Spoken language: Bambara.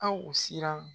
Aw siran